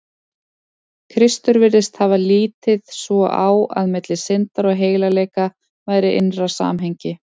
Kristur virðist hafa litið svo á, að milli syndar og heilagleika væri innra samhengi.